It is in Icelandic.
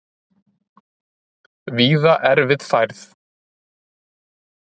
Víða erfið færð